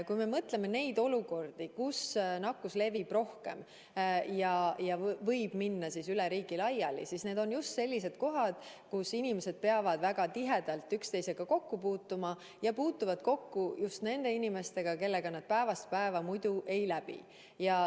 Kui me mõtleme nende olukordade peale, kus nakkus levib rohkem ja võib minna üle riigi laiali, siis näeme, et need on just sellised kohad, kus inimesed peavad väga tihedalt üksteisega kokku puutuma ja puutuvad kokku just nende inimestega, kellega nad muidu päevast päeva ei läviks.